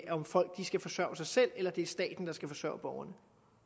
om folk skal forsørge sig selv eller om det er staten der skal forsørge borgerne